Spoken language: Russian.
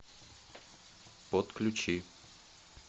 подключи